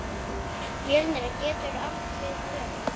Mjölnir getur átt við um